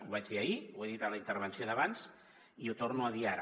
ho vaig dir ahir ho he dit a la intervenció d’abans i ho torno a dir ara